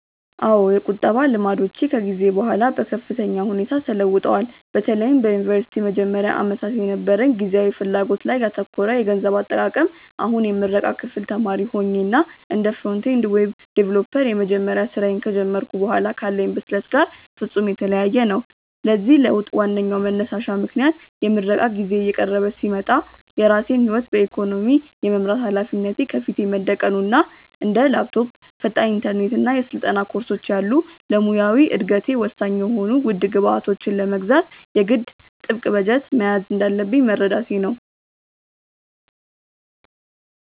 አዎ፣ የቁጠባ ልማዶቼ ከጊዜ በኋላ በከፍተኛ ሁኔታ ተለውጠዋል፤ በተለይም በዩኒቨርሲቲ መጀመሪያ ዓመታት የነበረኝ ጊዜያዊ ፍላጎት ላይ ያተኮረ የገንዘብ አጠቃቀም አሁን የምረቃ ክፍል ተማሪ ሆኜ እና እንደ ፍሮንት-ኤንድ ዌብ ዲቨሎፐር የመጀመሪያ ስራዬን ከጀመርኩ በኋላ ካለኝ ብስለት ጋር ፍጹም የተለያየ ነው። ለዚህ ለውጥ ዋነኛው መንሳሽ ምክንያት የምረቃ ጊዜዬ እየቀረበ ሲመጣ የራሴን ህይወት በኢኮኖሚ የመምራት ሃላፊነት ከፊቴ መደቀኑ እና እንደ ላፕቶፕ፣ ፈጣን ኢንተርኔት እና የስልጠና ኮርሶች ያሉ ለሙያዊ እደገቴ ወሳኝ የሆኑ ውድ ግብዓቶችን ለመግዛት የግድ ጥብቅ በጀት መያዝ እንዳለብኝ መረዳቴ ነው።